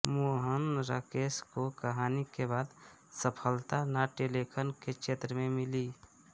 मोहन राकेश को कहानी के बाद सफलता नाट्यलेखन के क्षेत्र में मिली